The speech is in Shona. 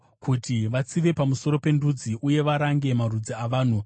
kuti vatsive pamusoro pendudzi, uye varange marudzi avanhu,